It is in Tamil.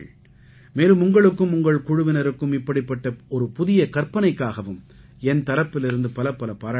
மேலும் உங்களுக்கும் உங்கள் குழுவினருக்கும் இப்படிப்பட்ட ஒரு புதிய கற்பனைக்காகவும் என் தரப்பிலிருந்து பலப்பல பாராட்டுக்கள்